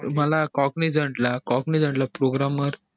मला cognizant ला cognizant ला programmer